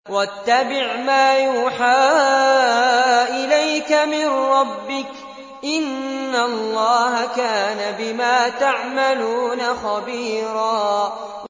وَاتَّبِعْ مَا يُوحَىٰ إِلَيْكَ مِن رَّبِّكَ ۚ إِنَّ اللَّهَ كَانَ بِمَا تَعْمَلُونَ خَبِيرًا